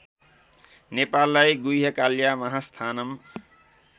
नेपाललाई गुह्यकाल्या महास्थानं